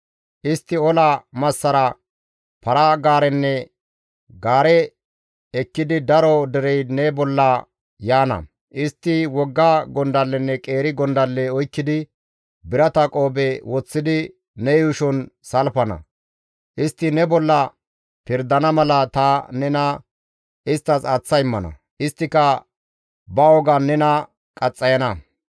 Istti ola massara, para-gaarenne gaare ekkidi daro derey ne bolla yaana; istti wogga gondallenne qeeri gondalle oykkidi, birata qoobe woththidi, ne yuushon salfana; istti ne bolla pirdana mala ta nena isttas aaththa immana; isttika ba wogan nena qaxxayana.